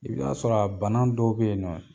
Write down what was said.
I bi t'a sɔrɔ bana dɔw bɛ yen nɔ.